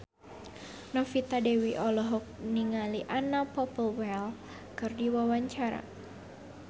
Novita Dewi olohok ningali Anna Popplewell keur diwawancara